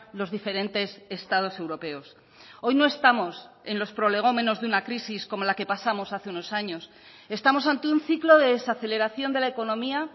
los diferentes estados europeos hoy no estamos en los prolegómenos de una crisis como la que pasamos hace unos años estamos ante un ciclo de desaceleración de la economía